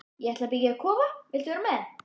Ég ætla að byggja kofa, viltu vera með?